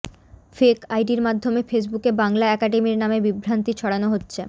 fake আইডির মাধ্যমে ফেসবুকে বাংলা একাডেমির নামে বিভ্রান্তি ছড়ানো হচ্ছে